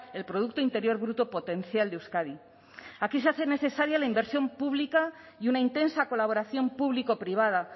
el producto interior bruto potencial de euskadi aquí se hace necesaria la inversión pública y una intensa colaboración público privada